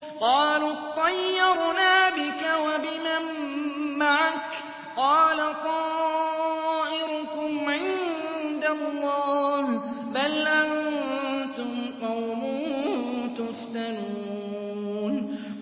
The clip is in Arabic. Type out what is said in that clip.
قَالُوا اطَّيَّرْنَا بِكَ وَبِمَن مَّعَكَ ۚ قَالَ طَائِرُكُمْ عِندَ اللَّهِ ۖ بَلْ أَنتُمْ قَوْمٌ تُفْتَنُونَ